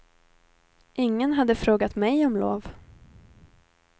Ingen hade frågat mig om lov.